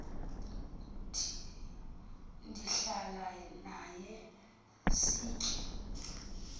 ndihlale naye sitye